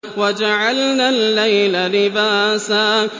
وَجَعَلْنَا اللَّيْلَ لِبَاسًا